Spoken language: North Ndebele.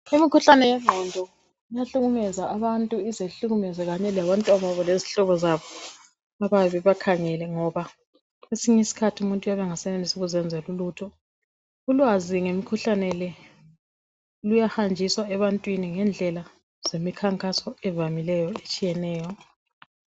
umukhuhlane wenqondo uhlukumeza ababantu ize ihlukumeze kanye labantwanababo lezihlobozabo abayabebebakhangele ngoba kwesinye isikhathi umuntu uyabe engasakwazi ukuzenzela ulutho ulwazi ngemikhuhlane lo uyahamjiswa ebantwini ngedlela zemikhankaso evamileyo etshiyeneyo